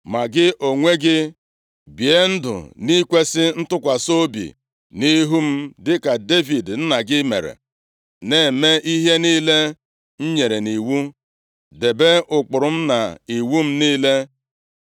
“Ma gị onwe gị, bie ndụ nʼikwesị ntụkwasị obi nʼihu m dịka Devid nna gị mere, na-eme ihe niile m nyere nʼiwu, debe ụkpụrụ m na iwu m niile.